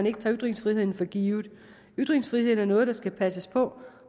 ikke tager ytringsfriheden for givet ytringsfriheden er noget der skal passes på